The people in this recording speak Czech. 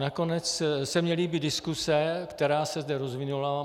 Nakonec se mi líbí diskuse, která se zde rozvinula.